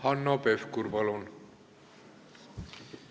Hanno Pevkur, palun!